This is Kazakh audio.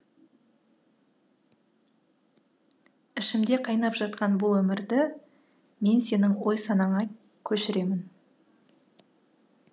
ішімде қайнап жатқан бұл өмірді мен сенің ой санаңа көшіремін